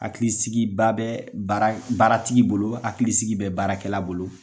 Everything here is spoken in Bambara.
Hakilisikiba bɛ baratigi bolo hakili sigi bɛ baarakɛla bolo.